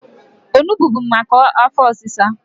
Onugbo bu maka afọ ọsịsa.